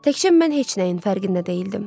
Təkcə mən heç nəyin fərqində deyildim.